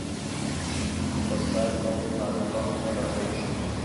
поставь крупная рыба ультра эйч ди